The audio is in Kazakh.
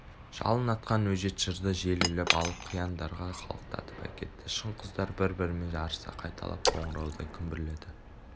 жалын атқан өжет жырды жел іліп алып қияндарға қалықтатып әкетті шың-құздар бір-бірімен жарыса қайталап қоңыраудай күмбірледі